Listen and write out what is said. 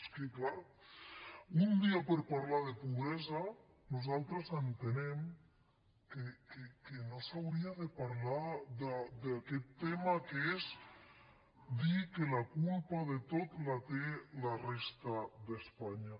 és que clar un dia que parlem de pobresa nosaltres entenem que no s’hauria de parlar d’aquest tema que és dir que la culpa de tot la té la resta d’espanya